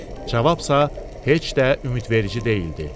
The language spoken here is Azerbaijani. Cavabsa heç də ümidverici deyildi.